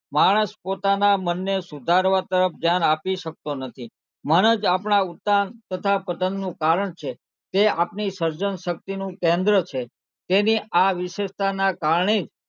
માણસ પોતાનાં મનને સુધારવા તરફ ધ્યાન આપી શકતો નથી મન જ આપણા ઉદ્દાન તથા પતનનું કારણ છે તે આપની સર્જનશક્તિનું કેન્દ્ર છે તેની આ વિશેષતાના કારણે,